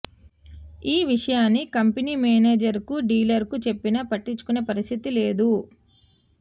ఈ విషయాన్ని కంపెనీ మేనేజర్కు డీలర్కు చెప్పినా పట్టించుకునే పరిస్థితి లేదు